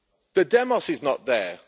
The demos is not there.